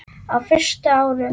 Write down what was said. Á fyrstu árum